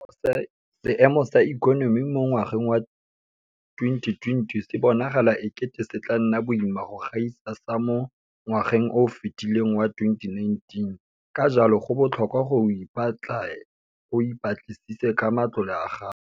Seemo sa ikonomi mo ngwageng wa 2020 se bonagala e kete se tla nna boima go gaisa sa mo ngwageng o o fetileng wa 2019, ka jalo go botlhokwa gore o ipatle o ipatlisise ka matlole a gago.